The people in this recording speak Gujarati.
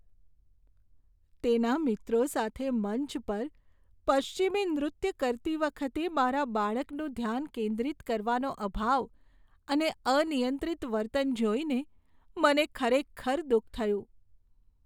તેના મિત્રો સાથે મંચ પર પશ્ચિમી નૃત્ય કરતી વખતે મારા બાળકનું ધ્યાન કેન્દ્રિત કરવાનો અભાવ અને અનિયંત્રિત વર્તન જોઈને મને ખરેખર દુઃખ થયું.